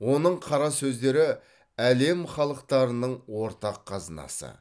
оның қара сөздері әлем халықтарының ортақ қазынасы